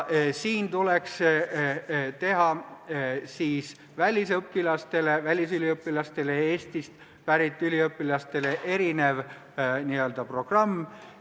Siin tuleks välisüliõpilastele ja Eestist pärit üliõpilastele teha erinev n-ö programm.